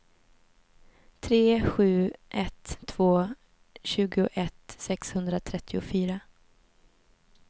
tre sju ett två tjugoett sexhundratrettiofyra